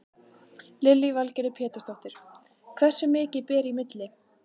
Lillý Valgerður Pétursdóttir: Hversu mikið ber í milli?